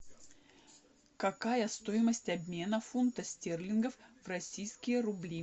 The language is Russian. какая стоимость обмена фунта стерлингов в российские рубли